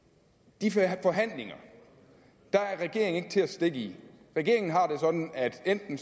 skal have forhandlinger er regeringen ikke til at stikke i regeringen har det sådan at enten